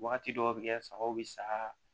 Wagati dɔw bɛ kɛ sagaw bi sa